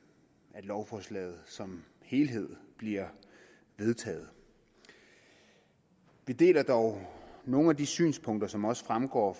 at lovforslaget som helhed bliver vedtaget vi deler dog nogle af de synspunkter som også fremgår